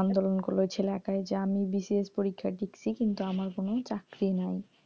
আন্দোলন করলে ওই ছেলে একাই যে আমি BCS পরীক্ষা দিচ্ছি কিন্তু আমার কোনো চাকরি নাই,